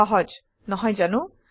সহজ নহয় জানো